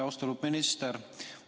Austatud minister!